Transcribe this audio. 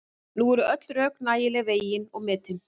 Nú eru öll rök nægilega vegin og metin.